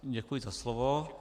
Děkuji za slovo.